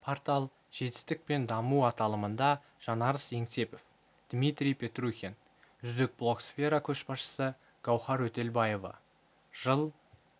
портал жетістік пен даму аталымында жанарыс еңсепов дмитрий петрухин үздік блогсфера көшбасшы гауіар өтелбаева жыл